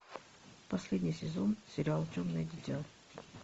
последний сезон сериал темное дитя